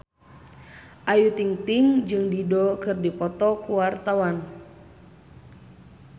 Ayu Ting-ting jeung Dido keur dipoto ku wartawan